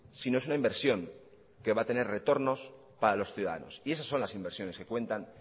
sino es una inversión que va a tener retornos para los ciudadanos y esas son las inversiones que cuentan